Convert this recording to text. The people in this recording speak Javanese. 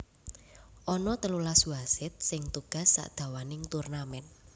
Ana telulas wasit sing tugas sadawaning turnamen